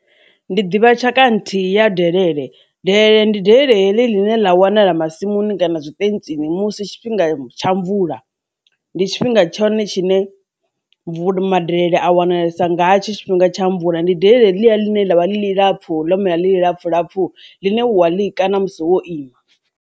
Ndi ḓivha tshaka nthihi ya delele delele ndi delele line la wanala masimuni kana zwitentsisi musi tshifhinga tsha mvula ndi tshifhinga tshone tshine mvula madelele a wanalesa ngatsho tshifhinga tsha mvula ndi delele ḽine ḽavha ḽi lapfu ḽo mela ḽilapfu lapfu ḽine wa ḽi kana musi wo ima.